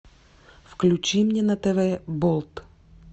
включи мне на тв болт